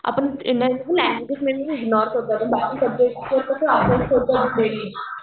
आपण indirectly ignore करतो आपण बाकी